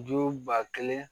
Ju ba kelen